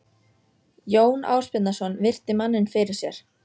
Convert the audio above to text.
Jón Ásbjarnarson virti manninn fyrir sér.